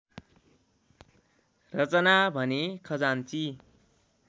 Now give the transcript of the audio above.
रचना भने खजान्ची